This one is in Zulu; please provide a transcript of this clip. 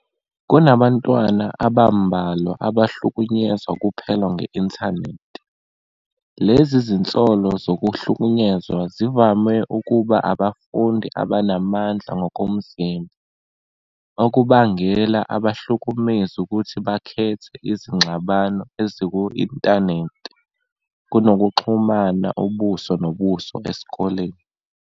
Kunabantwana abambalwa abahlukunyezwa kuphela nge-Intanethi, lezi zinsolo zokuhlukunyezwa zivame ukuba abafundi abanamandla ngokomzimba, okubangela abahlukumezi ukuthi bakhethe izingxabano eziku-inthanethi kunokuxhumana ubuso nobuso esikoleni.